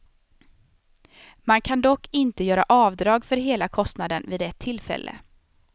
Man kan dock inte göra avdrag för hela kostnaden vid ett tillfälle.